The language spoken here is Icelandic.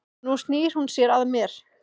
Nú snýr hún sér að mér.